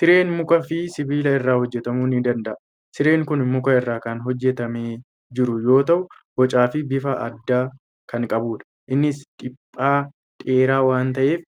Sireen mukaa fi sibiila irraa hojjetamuu ni danda'a. Sireen kun muka irraa kana hojjetamee jiru yoo ta'u, bocaa fi bifa addaa kan qabudha. Innis dhiphaa dheeraa waan ta'eef